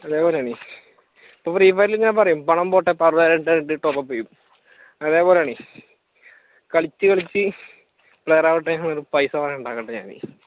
അതേപോലെ ആണ് ഇപ്പൊ ഫ്രീഫയറിലും ഞാൻ പറയും പണം പോട്ടെ top up ചെയ്യും അതേപോലാണ് കളിച്ച് കളിച്ച് player ആവട്ടേന്നുപറഞ്ഞ് പൈസ കുറെ ഉണ്ടാക്കുന്നുണ്ട് ഞാൻ